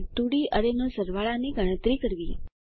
અને 2ડી અરેનો સરવાળા ની ગણતરી કરવી